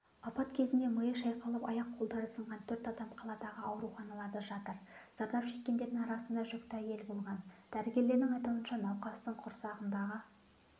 апат кезінде миы шайқалып аяқ-қолдары сынған төрт адам қаладағы ауруханаларда жатыр зардап шеккендердің арасында жүкті әйел болған дәрігерлердің айтуынша науқастың құрсағындағы